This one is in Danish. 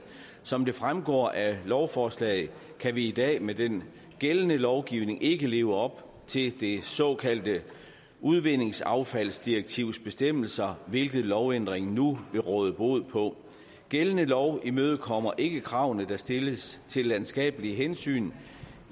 som det fremgår af lovforslaget kan vi i dag med den gældende lovgivning ikke leve op til det såkaldte udvindingsaffaldsdirektivs bestemmelser hvilket lovændringen nu vil råde bod på gældende lov imødekommer ikke kravene der stilles til landskabelige hensyn